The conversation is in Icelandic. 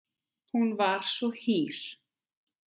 Hún var svo hýr.